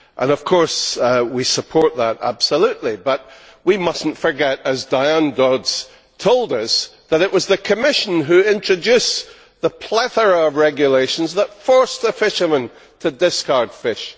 Of course, we support that absolutely, but we must not forget, as Diane Dodds told us, that it was the Commission who introduced the plethora of regulations that forced fishermen to discard fish.